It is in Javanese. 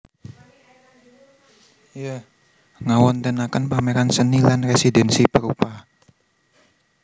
Ngawontenaken pameran seni lan residensi perupa